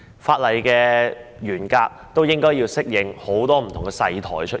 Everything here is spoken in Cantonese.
法例的內容亦應該適應很多不同"細台"的出現。